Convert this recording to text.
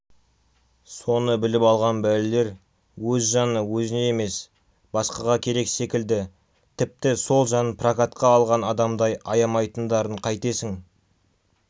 соны біліп алған бәлелер өз жаны өзіне емес басқаға керек секілді тіпті сол жанын прокатқа алған адамдай аямайтындарын қайтесің